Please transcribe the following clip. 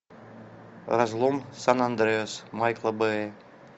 разлом сан андреас майкла бэя